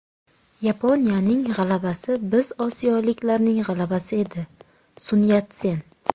Yaponiyaning g‘alabasi biz osiyoliklarning g‘alabasi edi” – Sun Yatsen.